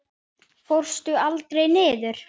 Fórstu aldrei niður?